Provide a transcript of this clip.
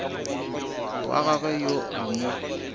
wa gagwe yo a mo